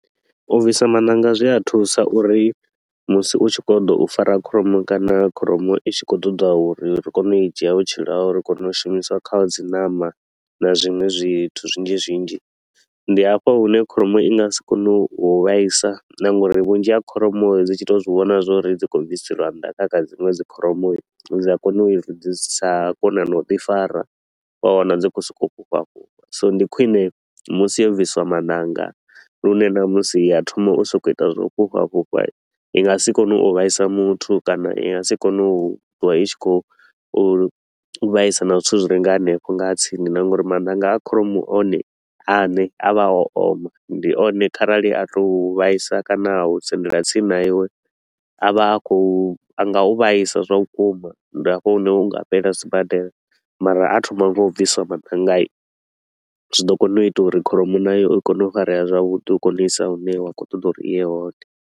U bvisa mananga zwi a thusa uri musi u tshi kho ḓo u fara kholomo kana kholomo i tshi khou ṱoḓa uri ri kone u i dzhia vhutshilo haho uri ri kone u shumisa kha dzi ṋama na zwiṅwe zwithu zwinzhi zwinzhi. Ndi hafha hune kholomo i nga si kone u vhaisa na nga uri vhunzhi ha kholomo dzi tshi to u zwi vhona uri dzi kho u bviselwa nnḓa kha kha dziṅwe dzi kholomo, dzi a kona u sa kona na u ḓi fara. Wa wana dzi kho so ko u fhufha fhufha, so ndi khwine musi yo bvisiwa maṋanga lune ṋamusi ya thoma u so ko u ita zwa u fhufha fhufha i nga si kone u vhaisa muthu kana i nga si kone u twa i tshi khou vhaisa na zwithu zwi re nga hanefho nga tsini. Na nga uri mananga a kholomo one a ne a vha o oma, ndi one kharali a to u u vhaisa kana u sendela tsini na iwe, a vha a kho u, a nga u vhaisa zwa vhukuma. Ndi a fho hune u nga fhelela sibadela mara a thoma nga u bvisiwa madangani, zwi ḓo kona u ita uri kholomo nayo i kone u farea zwavhuḓi u kone u i isa hune wa khou ṱoḓa uri i ye hone.